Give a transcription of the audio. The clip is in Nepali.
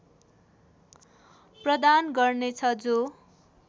प्रदान गर्नेछ जो